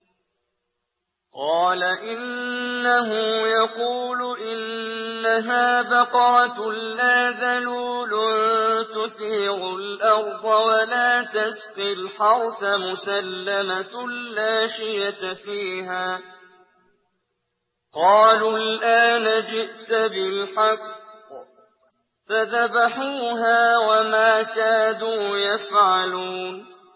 قَالَ إِنَّهُ يَقُولُ إِنَّهَا بَقَرَةٌ لَّا ذَلُولٌ تُثِيرُ الْأَرْضَ وَلَا تَسْقِي الْحَرْثَ مُسَلَّمَةٌ لَّا شِيَةَ فِيهَا ۚ قَالُوا الْآنَ جِئْتَ بِالْحَقِّ ۚ فَذَبَحُوهَا وَمَا كَادُوا يَفْعَلُونَ